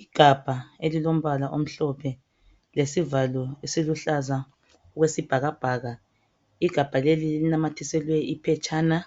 Igabha elilombala omhlophe lesivalo esiluhlaza okwesibhakabhaka igabha leli linamathiselwe iphetshana